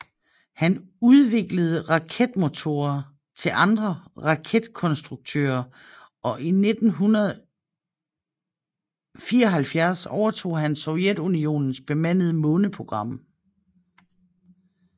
Han udviklede raketmotorer til andre raketkonstruktører og i 1974 overtog han Sovjetunionens bemandede måneprogram